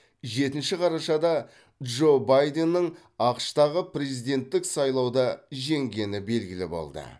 жетінші қарашада джо байденнің ақш тағы президенттік сайлауда жеңгені белгілі болды